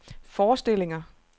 forestillinger